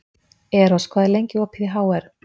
Eros, hvað er lengi opið í HR?